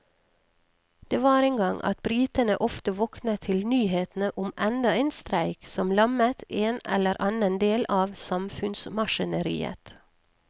Det var en gang at britene ofte våknet til nyhetene om enda en streik som lammet en eller annen del av samfunnsmaskineriet.